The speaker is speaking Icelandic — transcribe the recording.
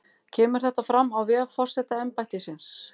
Kemur þetta fram á vef forsetaembættisins